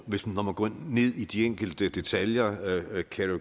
hvis man går ned i de enkelte detaljer